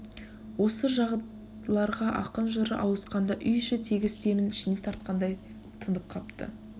осы жайларға ақын жыры ауысқанда үй іші тегіс демін ішіне тартқандай тынып қапты